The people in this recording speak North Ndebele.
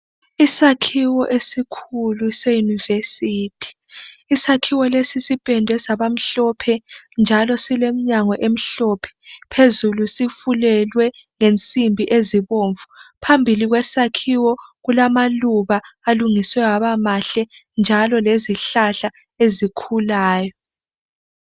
Isakhiwo esikhulu seyunivesithi .Isakhiwo lesi sipendwe sabamhlophe njalo silemnyango emhlophe phezulu sifulelwe ngensimbi ezibomvu. Phambili kwesakhiwo kulamaluba alungiswe aba mahle njalo lezihlahla ezikhulayo.